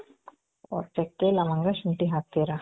ಓ ಚಕ್ಕೆ, ಲವಂಗ, ಶುಂಟಿ ಹಾಕ್ತೀರ.